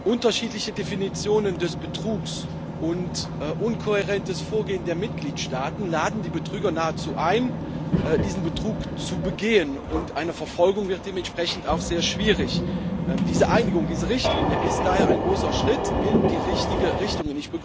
Unterschiedliche Definitionen des Betrugs und inkohärentes Vorgehen der Mitgliedstaaten laden die Betrüger nahezu ein, diesen Betrug zu begehen, und eine Verfolgung wird dementsprechend auch sehr schwierig. Diese Einigung, diese Richtlinie ist daher ein großer Schritt in die richtige Richtung.